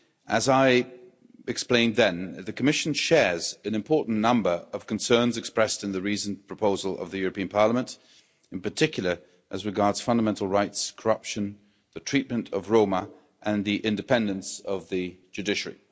As I explained then, the Commission shares an important number of concerns expressed in the reasoned proposal of the European Parliament, in particular, as regards fundamental rights, corruption, the treatment of Roma and the independence of the judiciary.